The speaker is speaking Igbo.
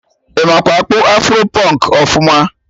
Ị makwa akpụ afro pụnk ọfụma?